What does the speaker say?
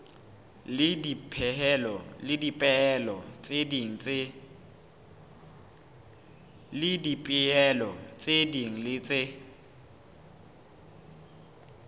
le dipehelo tse ding tse